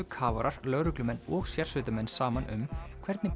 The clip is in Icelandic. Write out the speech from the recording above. kafarar lögreglumenn og sérsveitarmenn saman um hvernig